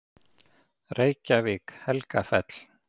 Reykjavík: Helgafell.